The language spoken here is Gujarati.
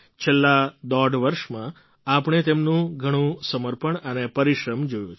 છેલ્લા દોઢ વર્ષમાં આપણે તેમનું ઘણું સમર્પણ અને પરિશ્રમ જોયો છે